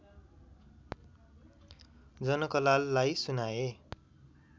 जनकलाललाई सुनाए